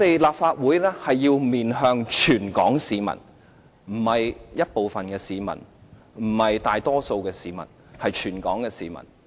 立法會要面向全港市民，不是部分市民，不是大多數市民，而是全港市民。